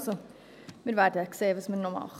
Also, wir werden sehen, was wir noch tun.